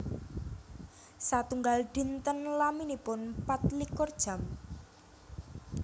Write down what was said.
Satunggal dinten laminipun pat likur jam